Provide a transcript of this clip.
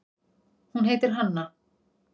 Hún heitir Hanna.